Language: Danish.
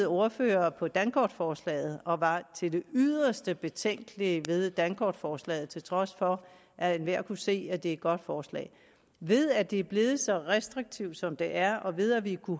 ordfører på dankortforslaget og var til det yderste betænkelig ved dankortforslaget til trods for at enhver kunne se at det var et godt forslag ved at det er blevet så restriktivt som det er og ved at vi